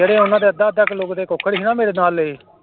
ਜਿਹੜੇ ਉਹਨਾਂ ਦੇ ਅੱਧਾ ਅੱਧਾ ਕਿੱਲੋ ਕੁ ਦੇ ਕੁੱਕੜ ਸੀ ਨਾ ਮੇਰੇ ਨਾਲ ਲਏ